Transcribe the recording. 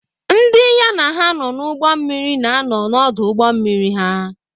Ndị ya na ha nọ n’ụgbọ mmiri na-anọ n’ọdụ ụgbọ mmiri ha.